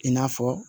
I n'a fɔ